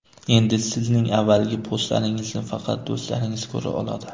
Endi sizning avvalgi postlaringizni faqat do‘stlaringiz ko‘ra oladi.